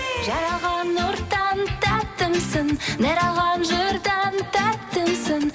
жаралған нұрдан тәттімсің нәр алған жырдан тәттімсің